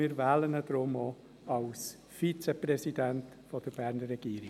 Wir wählen ihn denn auch zum Vizepräsidenten der Berner Regierung.